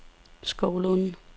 Skovlunde